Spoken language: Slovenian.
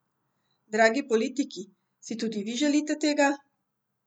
Dragi politiki, si tudi vi želite tega?